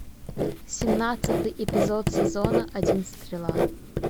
семнадцатый эпизод сезона один стрела